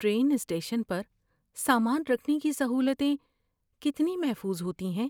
Train station پر سامان رکھنے کی سہولتیں کتنی محفوظ ہوتی ہیں؟